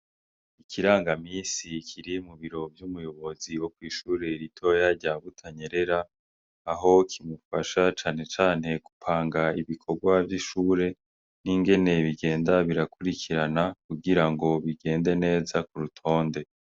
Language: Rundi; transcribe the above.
Ikirangamisi kiri mu biro vy' umuyobozi wo kw' ishure ritoya rya Butanyerera aho kimufasha cane cane gupanga ibikogwa vy' ishure n' ingene bigenda birakurikarana kugira ngo bigende neza ku rutonde.